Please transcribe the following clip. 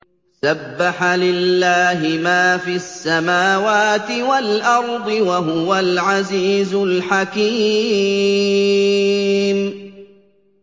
سَبَّحَ لِلَّهِ مَا فِي السَّمَاوَاتِ وَالْأَرْضِ ۖ وَهُوَ الْعَزِيزُ الْحَكِيمُ